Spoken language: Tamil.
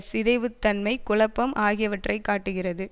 சிதைவுத்தன்மை குழப்பம் ஆகியவற்றை காட்டுகிறது